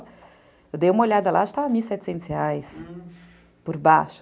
Eu dei uma olhada lá, acho que estava mil e setecentos reais, por baixo.